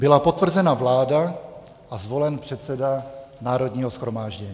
Byla potvrzena vláda a zvolen předseda Národního shromáždění.